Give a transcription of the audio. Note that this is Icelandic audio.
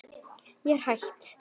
Ég er hætt.